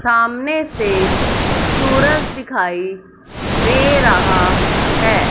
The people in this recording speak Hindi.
सामने से सूरज दिखाई दे रहा है।